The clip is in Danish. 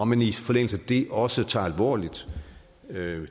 man i forlængelse af det også tager det alvorligt med